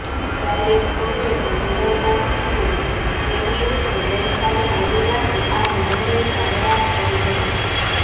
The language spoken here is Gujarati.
ડાયરેક્ટોરેટ જનરલ ઓફ સિવિલ એવિએશને ગઈ કાલે મોડી રાતે આ નિર્ણયની જાહેરાત કરી હતી